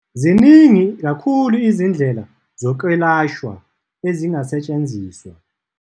Ziningi kakhulu izindlela zokwelashwa ezingasetshenziswa.